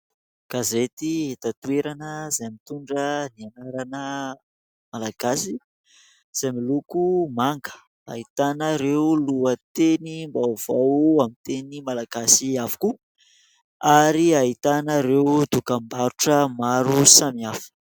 Gazety eto an-toerana izay mitondra ny anarana Malagasy izay miloko manga, ahitana ireo lohatenim-baovao amin'ny teny Malagasy avokoa ary ahitana ireo dokambarotra maro samy hafa.